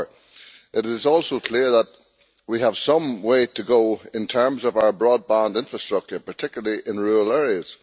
However, it is also clear that we have some way to go in terms of our broadband infrastructure, particularly in rural areas.